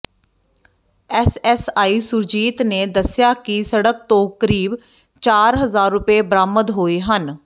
SSI Surjit ਨੇ ਦੱਸਿਆ ਕਿ ਸੜਕ ਤੋਂ ਕਰੀਬ ਚਾਰ ਹਜ਼ਾਰ ਰੁਪਏ ਬਰਾਮਦ ਹੋਏ ਹਨ